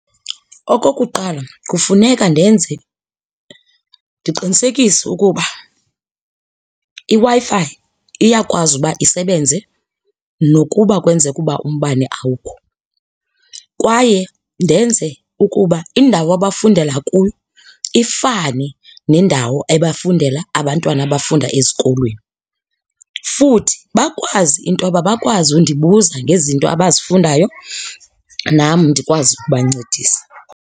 Okokuqala, kufuneka ndenze ndiqinisekise ukuba iWi-Fi iyakwazi uba isebenze nokuba kwenzeke uba umbane awukho. Kwaye ndenze ukuba indawo abafundela kuyo ifani nendawo ebafundela abantwana abafunda ezikolweni. Futhi bakwazi intoba bakwazi undibuza ngezinto abazifundayo nam ndikwazi ukubancedisa.